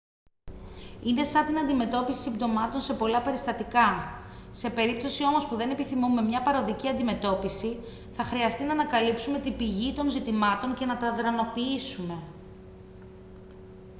είναι σαν την αντιμετώπιση συμπτωμάτων σε πολλά περιστατικά σε περίπτωση όμως που δεν επιθυμούμε μια παροδική αντιμετώπιση θα χρειαστεί να ανακαλύψουμε την πηγή των ζητημάτων και να τα αδρανοποιήσουμε